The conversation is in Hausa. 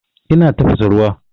Ina tafasa ruwa.